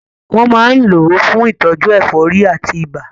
Wọ́n máa ń lò ó fún ìtọ́jú ẹ̀fọ́rí àti ibà.